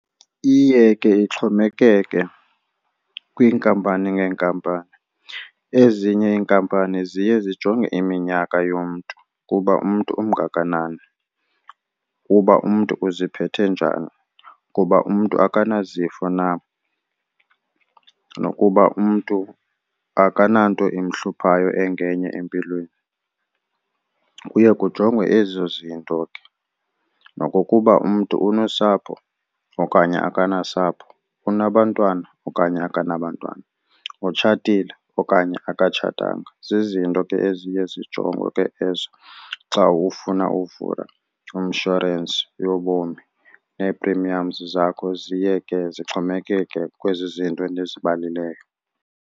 Iye ke ixhomekeke kwiinkampani ngeenkampani. Ezinye iinkampani ziye zijonge iminyaka yomntu kuba umntu ungakanani, kuba umntu uziphethe njani, kuba umntu akanayo izifo na nokuba umntu akananto imhluphayo engenye empilweni. Kuye kujongwe ezo zinto ke nokokuba umntu unosapho okanye akanasapho, unabantwana okanye akanabo bantwana, utshatile okanye akatshatanga. Zizinto ke eziye zijongwe ke ezo xa ufuna uvula inshorensi yobomi, nee-premiums zakho ziye ke zixhomekeke kwezi zinto ndizibalayo.